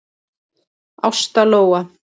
Ásta Lóa.